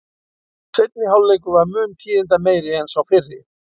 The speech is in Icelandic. Seinni hálfleikur var mun tíðindameiri en sá fyrri.